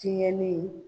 Tiɲɛni